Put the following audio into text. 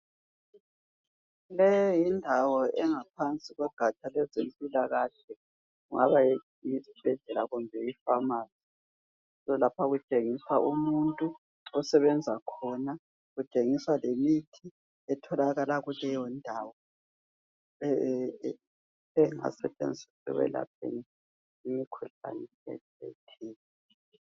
Le yindawo engaphansi kogatsha lwezempilakahle .Kungaba yisibhedlela kumbe ipharmacy. So lapha kutshengiswa umuntu osebenza khona. Kutshengiswa lemithi etholakala kuleyo ndawo engasebenza ekwelapheni imikhuhlane etshiyeneyo.